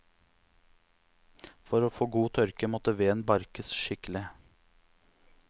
For å få god tørke, måtte veden barkes skikkelig.